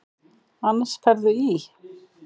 Annars ferðu í.